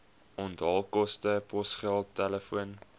onthaalkoste posgeld telefoon